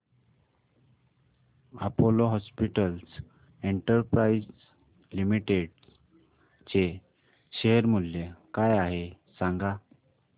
Apollo hospitals enterprise limited चे share मूल्य काय आहे सांगा